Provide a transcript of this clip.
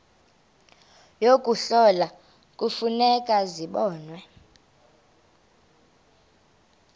yokuhlola kufuneka zibonwe